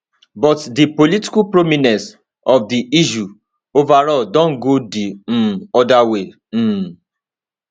but di political prominence of di issue overall don go di um oda way um